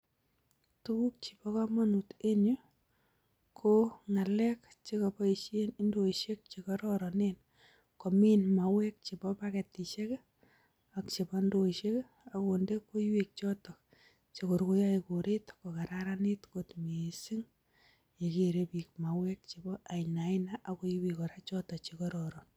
Tukuk chebo kamanut en yu, ko ngalek che kaboisien indoisiek che kororonen, komin mauwek chebo baketisiek ii ak chebo ndoisiek ii ak konde koiwek chotok che kor koyoe koret kokasraranit kot mising ye kere piik mauwek chebo ainaina ak koiwek kora choto che kororon.